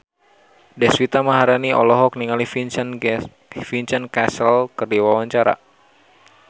Deswita Maharani olohok ningali Vincent Cassel keur diwawancara